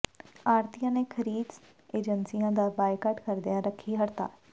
ਆੜ੍ਹਤੀਆਂ ਨੇ ਖ਼ਰੀਦ ਏਜੰਸੀਆਂ ਦਾ ਬਾਈਕਾਟ ਕਰਦਿਆਂ ਰੱਖੀ ਹੜਤਾਲ